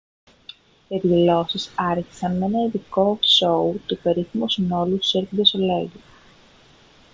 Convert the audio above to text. οι εκδηλώσεις άρχισαν με ένα ειδικό σόου του περίφημου συνόλου cirque du soleil